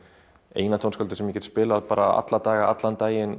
eina tónskáldið sem ég get spilað alla daga allan daginn